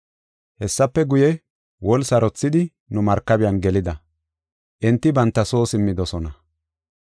Hessafe guye, woli sarothidi nu markabiyan gelida; enti banta soo simmidosona.